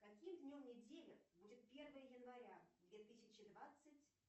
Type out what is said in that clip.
каким днем недели будет первое января две тысячи двадцать